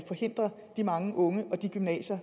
forhindre de mange unge og de gymnasier